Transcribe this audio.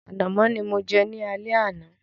Ànàmọ́ ni mo jẹ ní alẹ́ àná.